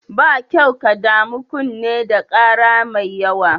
Ba kyau ka damu kunne da ƙara mai yawa.